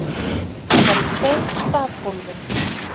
Hún var í tveim stafgólfum.